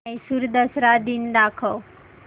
म्हैसूर दसरा दिन दाखव